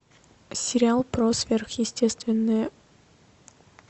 сериал про сверхъестественное